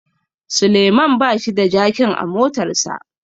Suleman bashi da jakin a motarsa